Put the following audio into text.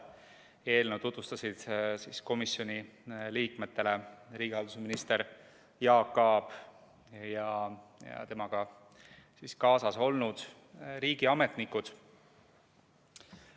Eelnõu tutvustasid komisjoni liikmetele riigihalduse minister Jaak Aab ja temaga kaasas olnud riigiametnikud.